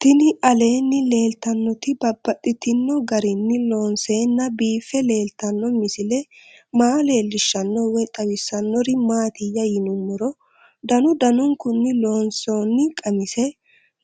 Tinni aleenni leelittannotti babaxxittinno garinni loonseenna biiffe leelittanno misile maa leelishshanno woy xawisannori maattiya yinummoro danu danunkunni loonsoonni qamise